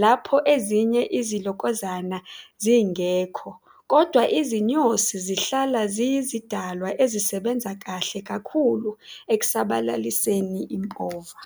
lapho ezinye izilokozana zingekho, kodwa izinyosi zihlala ziyizidalwa ezisebenza kahle kakhulu ekusabalaliseni impova.